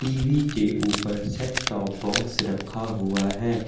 TV के ऊपर set off box रखा हुआ है।